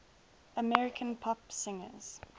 american pop singers